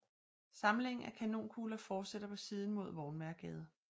Samlingen af kanonkugler fortsætter på siden mod Vognmagergade